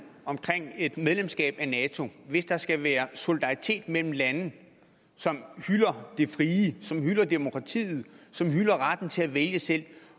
omkring et medlemskab af nato hvis der skal være solidaritet mellem lande som hylder det frie som hylder demokratiet som hylder retten til at vælge selv